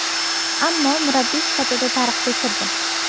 Ammo murabbiy sifatida tarixga kirdi.